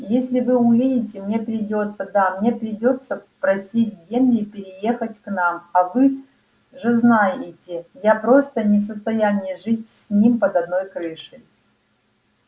если вы увидите мне придётся да мне придётся просить генри переехать к нам а вы же знаете я просто не в состоянии жить с ним под одной крышей